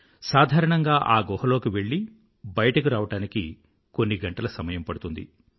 సాధారణంగా ఆ గుహ లోకి వెళ్ళి బయటకు రావడానికి కొన్ని గంటల సమయం పడుతుంది